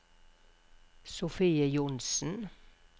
Sofie Johnsen